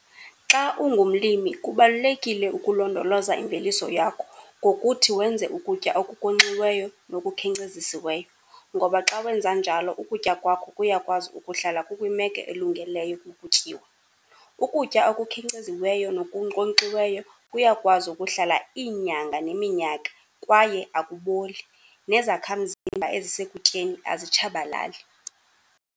Xa ungumlimi kubalulekile ukulondoloza imveliso yakho ngokuthi wenze ukutya okunkonxiweyo nokukhenkcezisiweyo, ngoba xa wenza njalo ukutya kwakho kuyakwazi ukuhlala kukwimeko elungeleyo ukutyiwa. Ukutya okukhenkceziweyo nokunkonkxiweyo kuyakwazi ukuhlala iinyanga neminyaka, kwaye akuboli, nezakhamzimba ezisekutyeni azitshabalali.